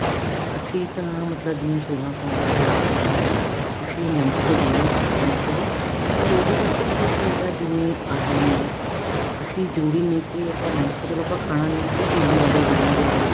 ਅਸੀਂ ਤਾਂ ਮਤਲਬ ਜਿਹੜਾ ਸੋਲਾਂ ਸੋਮਵਾਰ ਦਾ ਜਿਹੜਾ ਵਰਤ ਹੈਗਾ ਅਸੀਂ ਨਮਕ ਤੋਂ ਬਿਨਾ ਹੀ ਕਰਦੇ ਹਾਂ ਅਸੀਂ ਵੀ ਪਰ ਉਹਦੇ ਵਿੱਚ ਪਤਾ ਕੀ ਹੈਗਾ ਜਿਵੇਂ ਆਲੂ ਨੇ ਅਸੀਂ ਜਰੂਰੀ ਨੀ ਕੇ ਨਮਕ ਤਾਂ ਚਲੋ ਆਪਾਂ ਖਾਣਾ ਨੀ ਚਿੰਨੀ ਵਾਲੇ ਬਣਨਗੇ ਆਲੂ